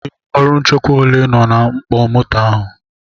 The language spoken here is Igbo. Ndị ọrụ nchekwa ole nọ na mkpọ moto ahụ?